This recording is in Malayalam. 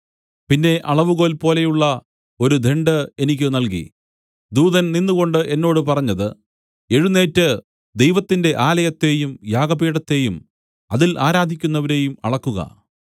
പിന്നെ അളവുകോൽപോലെയുള്ള ഒരു ദണ്ഡ് എനിക്ക് നൽകി ദൂതൻ നിന്നുകൊണ്ട് എന്നോട് പറഞ്ഞത് എഴുന്നേറ്റ് ദൈവത്തിന്റെ ആലയത്തെയും യാഗപീഠത്തെയും അതിൽ ആരാധിക്കുന്നവരെയും അളക്കുക